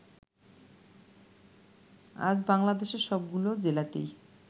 আজ বাংলাদেশের সবগুলো জেলাতেই